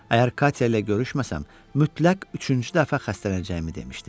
Əgər Katya ilə görüşməsəm, mütləq üçüncü dəfə xəstələnəcəyimi demişdi.